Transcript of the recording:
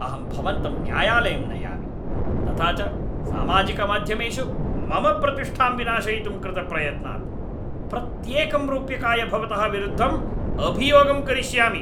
अहं भवन्तं न्यायालयं नयामि, तथा च सामाजिकमाध्यमेषु मम प्रतिष्ठां विनाशयितुं कृतप्रयत्नात्, प्रत्येकं रूप्यकाय भवतः विरुद्धम् अभियोगं करिष्यामि।